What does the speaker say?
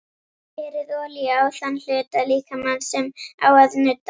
Berið olíu á þann hluta líkamans sem á að nudda.